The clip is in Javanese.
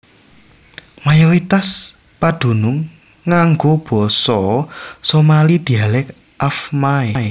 Mayoritas padunung nganggo basa Somali dhialek Afmaay